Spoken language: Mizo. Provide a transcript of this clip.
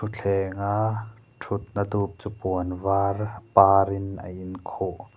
thuthlenga thutna dup chu puan var par in a in khuh.